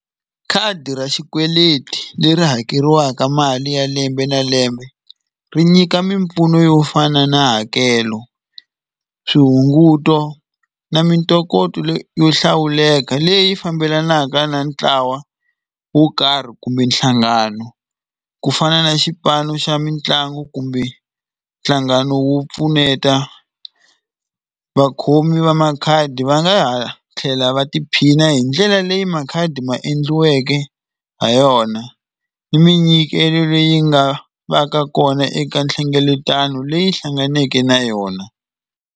Khadi ra xikweleti leri hakeriwaka mali ya lembe na lembe ri nyika mimpfuno yo fana na hakelo swihunguto na mintokoto yo hlawuleka leyi fambelanaka na ntlawa wo karhi kumbe nhlangano ku fana na xipano xa mitlangu kumbe nhlangano wo pfuneta vakhomi va makhadi va nga ha tlhela va tiphina hi ndlela leyi makhadi ma endliweke ha yona ni minyikelo leyi nga va ka kona eka nhlengeletano leyi hlanganeke na yona.